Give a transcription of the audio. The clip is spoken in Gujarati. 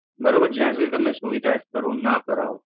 બરોબર છે જ્યાં સુધી તમે સુવિધા શરૂ ન કરાવ.